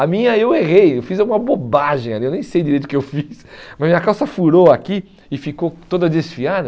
A minha eu errei, eu fiz alguma bobagem ali, eu nem sei direito o que eu fiz, mas minha calça furou aqui e ficou toda desfiada.